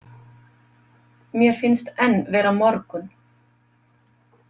Mér finnst enn vera morgunn.